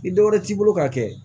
Ni dɔ wɛrɛ t'i bolo ka kɛ